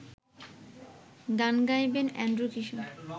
গান গাইবেন অ্যান্ড্রু কিশোর